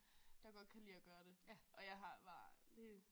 Der godt kan lide at gøre det og jeg har bare det